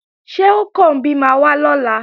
Ṣé Ọ̀kànbí máa wá lọ́la?